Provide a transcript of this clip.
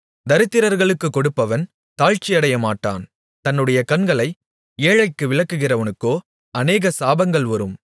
தரித்திரர்களுக்குக் கொடுப்பவன் தாழ்ச்சியடையமாட்டான் தன்னுடைய கண்களை ஏழைகளுக்கு விலக்குகிறவனுக்கோ அநேக சாபங்கள் வரும்